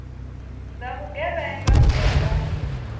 dza vhugevhenga u ya nga